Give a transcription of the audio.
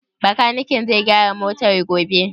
Bakaniken zai gyara motar gobe?